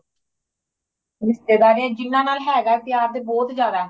ਰਿਸ਼ਤੇਦਾਰੀਆਂ ਜਿਹਨਾਂ ਨਾਲ ਹੈਗਾ ਪਿਆਰ ਤੇ ਬਹੁਤ ਜ਼ਿਆਦਾ